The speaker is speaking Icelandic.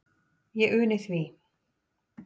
Ég uni því.